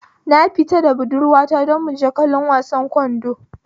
Na fita da budurwa ta don muje kallon wasan ƙwallon kwando